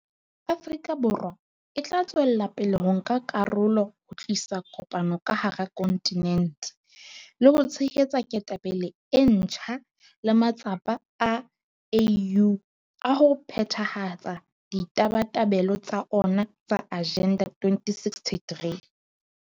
Afrika Borwa e tla tswela pele ho nka karolo ho tlisa kopano ka hara kontinente, le ho tshehetsa ketapele e ntjha le matsapa a AU a ho phethahatsa ditabatabelo tsa ona tsa Agenda 2063.